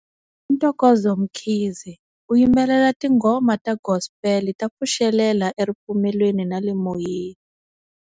I Ntokozo Mkhize u yimbelela tinghoma ta gospel ta pfuxelela eripfumelweni na le moyeni.